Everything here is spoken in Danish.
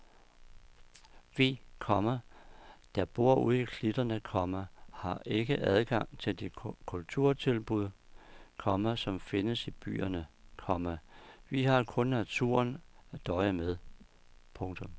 Vi, komma der bor ude i klitterne, komma har ikke adgang til de kulturtilbud, komma som findes i byerne, komma vi har kun naturen at døje med. punktum